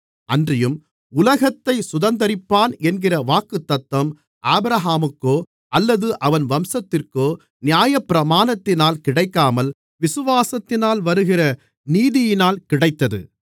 அன்றியும் உலகத்தைச் சுதந்தரிப்பான் என்கிற வாக்குத்தத்தம் ஆபிரகாமுக்கோ அல்லது அவன் வம்சத்திற்கோ நியாயப்பிரமாணத்தினால் கிடைக்காமல் விசுவாசத்தினால் வருகிற நீதியினால் கிடைத்தது